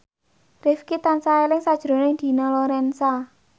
Rifqi tansah eling sakjroning Dina Lorenza